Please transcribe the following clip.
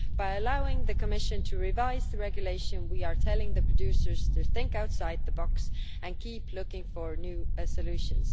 By allowing the Commission to revise the regulation, we are telling producers to think outside the box and to keep looking for new solutions.